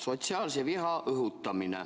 Sotsiaalse viha õhutamine.